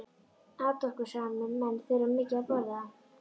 Atorkusamir menn þurfa mikið að borða.